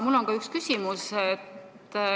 Mul on üks küsimus.